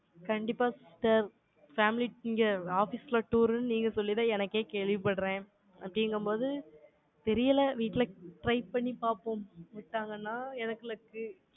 கண்டிப்பா sister family இங்க office ல tour ன்னு, நீங்க சொல்லிதான், எனக்கே கேள்விப்படுறேன். அப்படிங்கும்போது, தெரியலே. வீட்டுல try பண்ணி பார்ப்போம். விட்டாங்கன்னா, எனக்கு luck